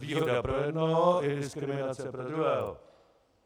Výhoda pro jednoho je diskriminace pro druhého.